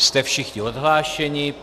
Jste všichni odhlášeni.